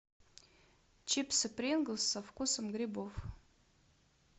чипсы принглс со вкусом грибов